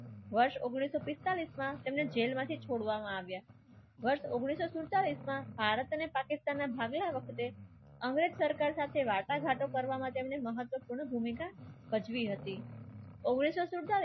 વર્ષ ઉંગ્નીસ સો પેંતરાલીસ માં તેમને જેલમાંથી છોડવામાં આવ્યા ઉંગ્નીસ સો સૈતાલીસ માં ભારત અને પાકિસ્તાનના ભાગલા વખતે અંગ્રેજ સરકાર સાથે વાર્તાઘાતો કરવા માટે એમને મહત્વપૂર્ણ ભૂમિકા ભજવી હતી.